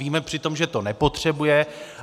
Víme přitom, že to nepotřebuje.